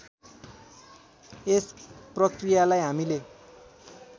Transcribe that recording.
यस प्रकृयालाई हामीले